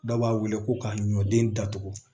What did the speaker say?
Dɔw b'a wele ko ka ɲɔden datugu